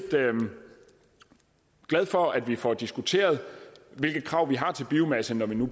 glad for at vi får diskuteret hvilke krav vi har til biomasse når vi